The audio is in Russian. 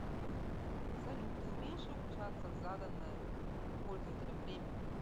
салют ты умеешь выключаться в заданное пользователем время